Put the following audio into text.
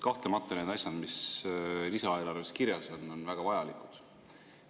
Kahtlemata, need asjad, mis lisaeelarves kirjas on, on väga vajalikud.